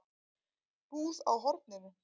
Búð á horninu?